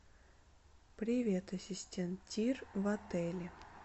привет ассистент тир в отеле